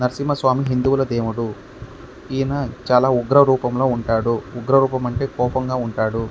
నరసినా స్వామి దేవుడు. ఈయన చాలా ఉగ్ర రూపంలో ఉంటాడు. ఉగ్రరూపం అంటే చాలా కోపంలో ఉంటాడు.